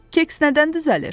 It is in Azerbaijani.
Keks nədən düzəlir?